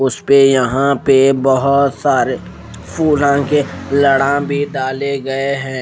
उस पे यहां पे बहोत सारे फूलान के लड़ा भी डाले गए हैं।